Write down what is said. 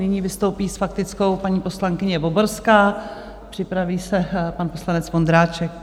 Nyní vystoupí s faktickou paní poslankyně Voborská, připraví se pan poslanec Vondráček.